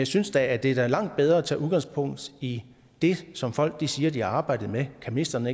synes da det er langt bedre at tage udgangspunkt i det som folk siger de har arbejdet med kan ministeren